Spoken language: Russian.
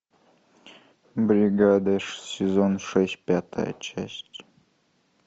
бригада сезон шесть пятая часть